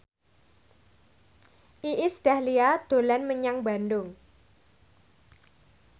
Iis Dahlia dolan menyang Bandung